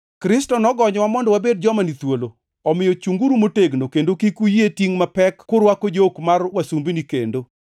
Kristo nogonyowa mondo wabed joma ni thuolo. Omiyo chungʼuru motegno, kendo kik uyie tingʼ mapek kurwako jok mar wasumbini kendo.